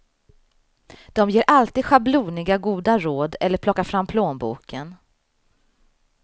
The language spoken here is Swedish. De ger alltid schabloniga goda råd eller plockar fram plånboken.